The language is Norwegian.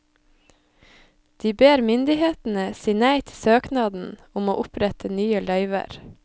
De ber myndighetene si nei til søknaden om å opprette nye løyver.